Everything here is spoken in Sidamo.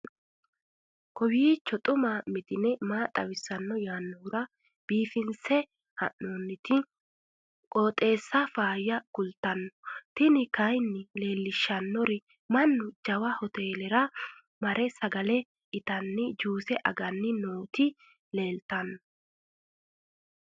kowiicho xuma mtini maa xawissanno yaannohura biifinse haa'noonniti qooxeessano faayya kultanno tini kayi leellishshannori mannu jawa hotelera mare sagale itanni juuse aganni nooti leeltanno